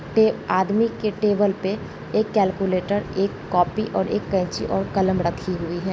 आदमी के टेबल पे एक कैलकुलेटर एक कॉपी और एक केची और एक कलम रखी हुई है।